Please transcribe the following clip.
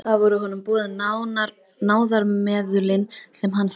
Eftir það voru honum boðin náðarmeðulin sem hann þáði.